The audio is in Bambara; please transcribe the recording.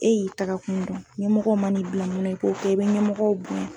E y'i taga kun dɔn ɲɛmɔgɔw man'i bila mun na i k'o kɛ e bɛ ɲɛmɔgɔw bonya.